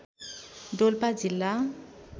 डोल्पा जिल्ला